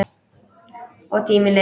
Og tíminn leið.